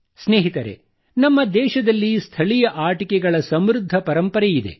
ಸ್ನೇಹಿತರೆ ನಮ್ಮ ದೇಶದಲ್ಲಿ ಸ್ಥಳೀಯ ಆಟಿಕೆಗಳ ಸಮೃದ್ಧ ಪರಂಪರೆಯಿದೆ